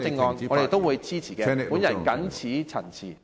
我們會支持，我謹此陳辭。